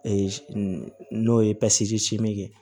n'o ye ye